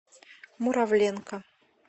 муравленко